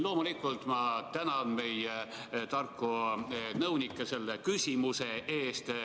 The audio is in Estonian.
Loomulikult ma tänan meie tarku nõunikke selle küsimuse eest.